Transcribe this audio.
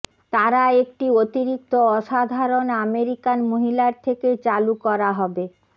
তারা একটি অতিরিক্ত অসাধারণ আমেরিকান মহিলার থেকে চালু করা হবে